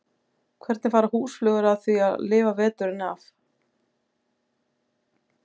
Hvernig fara húsflugur að því að lifa veturinn af?